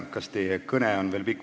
Kas teie kõne on veel pikk?